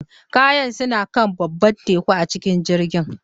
Kayana suna kan babban teku a cikin jirgin